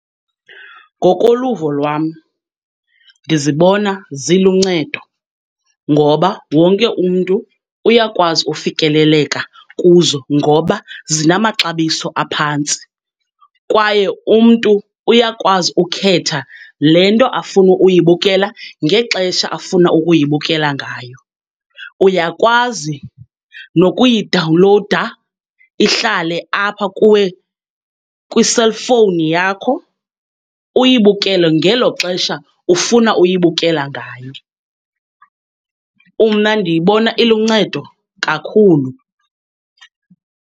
Ngokoluvo lwam, ndizibona ziluncedo ngoba wonke umntu uyakwazi ufikeleleka kuzo ngoba zinamaxabiso aphantsi, kwaye umntu uyakwazi ukhetha le nto afuna uyibukela, ngexesha afuna ukuyibukela ngayo. Uyakwazi nokuyidawunlowuda ihlale apha kuwe kwi-cellphone yakho, uyibukele ngelo xesha ufuna uyibukela ngayo. Umna ndiyibona iluncedo kakhulu.